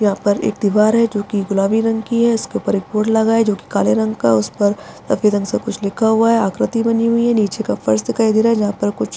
यहाँ पर एक दिवार है जो कि गुलाबी रंग की है उसके ऊपर एक बोर्ड लगा हुआ है जो कि काले रंग का है उस पर सफ़ेद रंग से कुछ लिखा हुआ है आकृति बनी हुई है नीचे का फर्श दिखाई दे रहा है जहां पर कुछ --